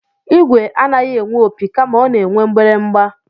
Igwe anaghị enwe opi kama ọ na-enwe mgbịrịgba